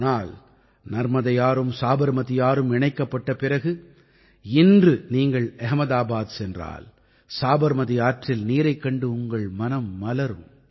ஆனால் நர்மதையாறும் சாபர்மதீ ஆறும் இணைக்கப்பட்ட பிறகு இன்று நீங்கள் அஹ்மதாபாத் சென்றால் சாபர்மதீ ஆற்றில் நீரைக் கண்டு உங்கள் மனம் மலரும்